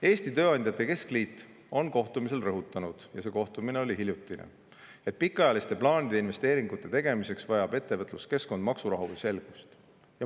Eesti Tööandjate Keskliit rõhutas kohtumisel – ja see kohtumine oli hiljuti –, et pikaajaliste plaanide ja investeeringute tegemiseks vajab ettevõtluskeskkond maksurahu ja selgust.